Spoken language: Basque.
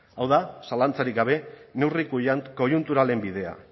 hau da zalantzarik gabe neurri koiunturalen bidea